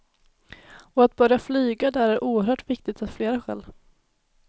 Och att börja flyga där är oerhört viktigt av flera skäl.